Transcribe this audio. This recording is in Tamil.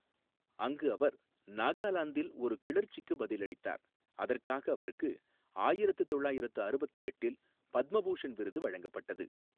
அங்கு அவர் நாகாலாந்தில் ஒரு கிளர்ச்சிக்கு பதிலளித்தார், அதற்காக அவருக்கு ஆயிரத்து தொள்ளாயிரத்து அறுபத்து எட்டில் பத்ம பூஷண் விருது வழங்கப்பட்டது.